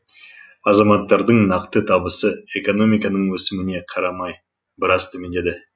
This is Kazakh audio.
азаматтардың нақты табысы экономиканың өсіміне қарамай біраз төмендеді